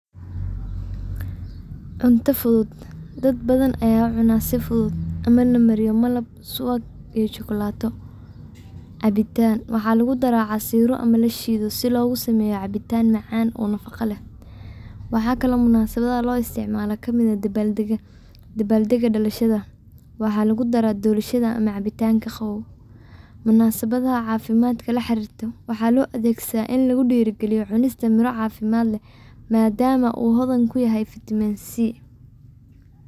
Cunta futhut, dadbathan Aya cunah si futhut amah lamariyah malab, suwag iyo jokulato, cabitaan waxa lagu darah casiro amah la sheetoh si lagu sameyoh, cabitan macan oo nafaqa leh waxakali oo munasabda lo isticmalah sitha dabaldegya dalashada, waxalgu darah doroshada amah cabtanga Qawaw, munsabathaa cafimad ka laxarirtoh waxa lo adegsathah ini lagu derikaletoh cunestaa cafimad leeh madama oo hodan ugu yahay vitamin c